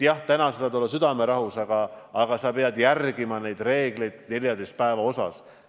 Jah, täna saad sa olla südamerahus, aga sa pead ikkagi järgima seda 14 päeva reeglit.